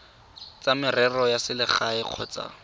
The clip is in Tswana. tsa merero ya selegae kgotsa